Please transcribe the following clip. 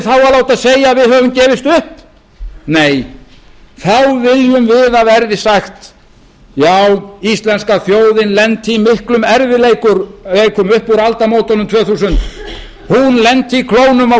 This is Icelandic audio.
að láta segja að við höfum gefist upp nei þá viljum við að verði sagt já íslenska þjóðin lenti í miklum erfiðleikum upp úr aldamótunum tvö þúsund hún lenti í klónum á